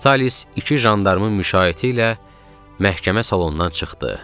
Vitalis iki jandarmın müşayiəti ilə məhkəmə salonundan çıxdı.